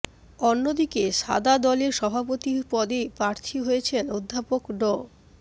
অন্যদিকে সাদা দলে সভাপতি পদে প্রার্থী হয়েছেন অধ্যাপক ড